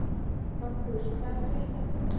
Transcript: Magnús: Hvað er að frétta af fuglinum?